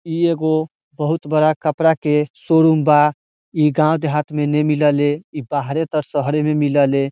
इ एगो बहुत बड़ा कपड़ा के शोरूम बा इ गांव देहात में ने मिले ले इ बाहरेजे तर शहरे में मिलेएले।